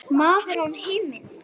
Maður án minnis.